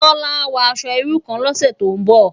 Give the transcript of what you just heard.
Bola á wò aṣò irú kán lòsè tó n bò